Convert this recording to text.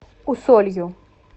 усолью